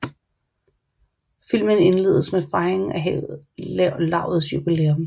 Filmen indledes med fejringen af lavets jubilæum